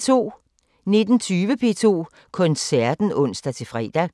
19:20: P2 Koncerten (ons-fre)